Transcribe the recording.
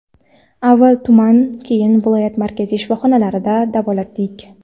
Avval tuman keyin viloyat markaziy shifoxonalarida davolatdik.